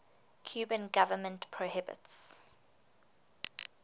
cuban government prohibits